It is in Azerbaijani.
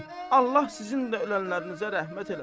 Allah sizin də ölənlərinizə rəhmət eləsin.